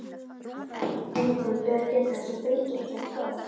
Einkum ber að gæta þess að þrengi ekki að tám.